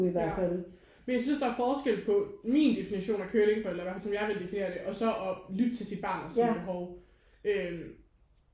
Ja men jeg synes der er forskel på min definition af curlingforældre eller i hvert fald som jeg ville definere det og så at lytte til sit barn og sine behov øh